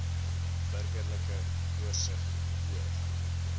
burgerlike oorsig oor